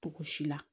Togo si la